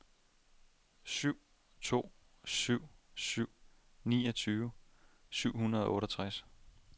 syv to syv syv niogtyve syv hundrede og otteogtres